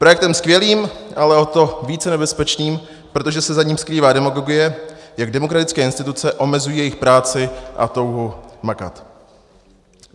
Projektem skvělým, ale o to více nebezpečným, protože se za ním skrývá demagogie, jak demokratické instituce omezují jejich práci a touhu makat.